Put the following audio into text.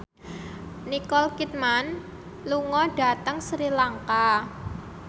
Nicole Kidman lunga dhateng Sri Lanka